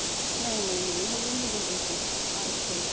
ਨਹੀਂ ਨਹੀਂ ਨਹੀਂ ਹਜੇ ਨੀ ਜਾਂਦੀ ਇੱਥੋ IELTS ਕਰੇਗੀ.